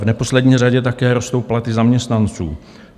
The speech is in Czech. V neposlední řadě také rostou platy zaměstnanců.